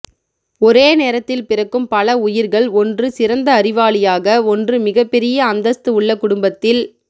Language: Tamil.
ஒரே நேரத்தில் பிறக்கும் பல உயிர்கள் ஒன்று சிறந்த அறிவாளியாக ஒன்று மிக பெரிய அந்தஸ்து உள்ள குடும்பத்தில்